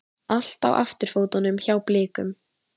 Allt á afturfótunum hjá Blikum